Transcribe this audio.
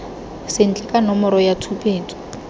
sentle ka nomoro ya tshupetso